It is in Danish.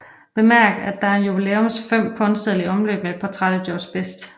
Bemærk at der er en jubilæums 5 pundseddel i omløb med et portræt af George Best